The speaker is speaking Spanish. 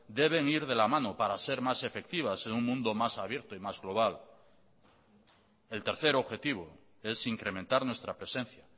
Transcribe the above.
deben ir de la mano para ser más efectivas en un mundo más abierto y más global el tercer objetivo es incrementar nuestra presencia